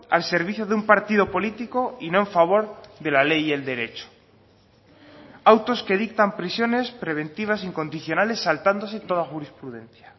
al servicio de un partido político y no en favor de la ley y el derecho autos que dictan prisiones preventivas incondicionales saltándose toda jurisprudencia